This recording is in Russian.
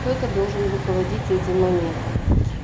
кто-то должен руководить этим моментом